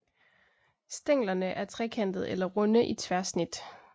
Stænglerne er trekantede eller runde i tværsnit